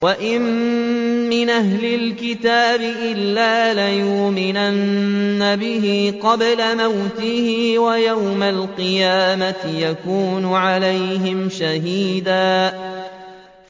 وَإِن مِّنْ أَهْلِ الْكِتَابِ إِلَّا لَيُؤْمِنَنَّ بِهِ قَبْلَ مَوْتِهِ ۖ وَيَوْمَ الْقِيَامَةِ يَكُونُ عَلَيْهِمْ شَهِيدًا